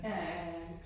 Ja ja ja ja